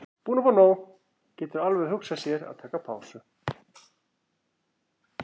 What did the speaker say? Bara búinn að fá nóg, getur alveg hugsað sér að taka pásu.